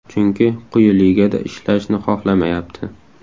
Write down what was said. Chunki quyi ligada ishlashni xohlamayapti.